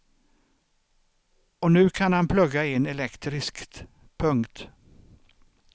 Och nu kan han plugga in elektriskt. punkt